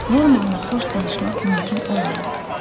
Normanla xoş danışmaq mümkün olmadı.